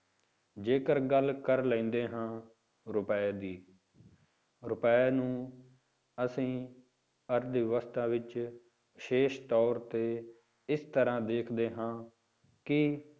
ਜੇਕਰ ਗੱਲ ਕਰ ਲੈਂਦੇ ਹਾਂ ਰੁਪਏ ਦੀ, ਰੁਪਏ ਨੂੰ ਅਸੀਂ ਅਰਥ ਵਿਵਸਥਾ ਵਿੱਚ ਵਿਸ਼ੇਸ਼ ਤੌਰ ਤੇ ਇਸ ਤਰ੍ਹਾਂ ਦੇਖਦੇ ਹਾਂ ਕਿ